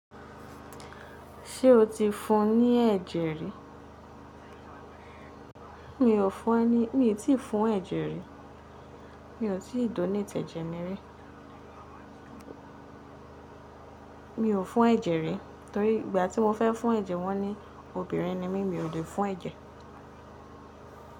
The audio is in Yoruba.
Ṣé o ti fún ní ẹ̀jẹ̀ rí? Mi ò fún ẹ ní, mi ò tí ì fún ẹ̀jẹ̀ rí. Mi ò tí ì donate tẹ̀jẹ̀ mi rí. Mi ò fún ẹ̀jẹ̀ rí torí ìgbà tí mo fẹ́ fún ẹ̀jẹ̀ wọ́n ni obìnrin ni mí, mi ò lè fún ẹ̀jẹ̀.